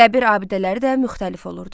Qəbir abidələri də müxtəlif olurdu.